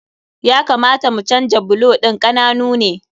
Ya kamata mu canja bulo ɗin, ƙananu ne.